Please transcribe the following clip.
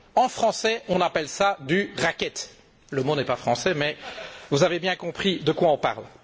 En français, on appelle cela du racket! Le mot n'est pas français mais vous avez bien compris de quoi on parle.